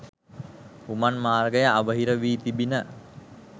උමං මාර්ගය අවහිර වී තිබිණ.